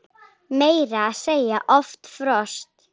Meira að segja oft frost!